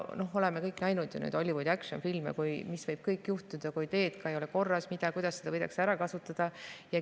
Me oleme ju kõik näinud Hollywoodi action-filmidest, mis kõik võib juhtuda, kui teed ei ole korras, ja kuidas seda võidakse ära kasutada.